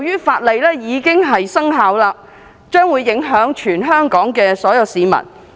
法律現已生效，將會影響全港所有市民。